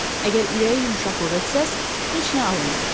Əgər ürəyi yumşaqlığı etsəz, heç nə alınmayacaq.